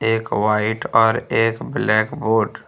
एक वाइट और एक ब्लैक बोर्ड --